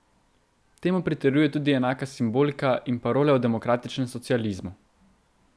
Temu pritrjujejo tudi enaka simbolika in parole o demokratičnem socializmu.